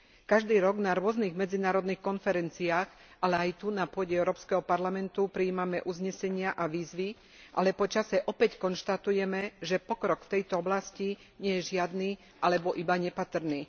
Každý rok na rôznych medzinárodných konferenciách, ale aj tu na pôde EP prijímame uznesenia a výzvy, ale po čase opäť konštatujeme, že pokrok v tejto oblasti nie je žiadny alebo iba nepatrný.